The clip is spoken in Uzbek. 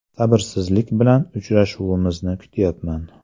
Sabrsizlik bilan uchrashuvimizni kutyapman.